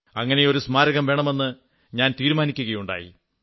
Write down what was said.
അങ്ങനെയൊരു സ്മാരകം വേണമെന്ന് ഞാൻ തീരുമാനിക്കയുണ്ടായി